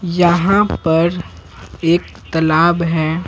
यहां पर एक तालाब है।